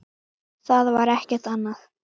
Það var ekkert annað.